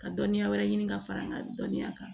Ka dɔnniya wɛrɛ ɲini ka fara n ka dɔnniya kan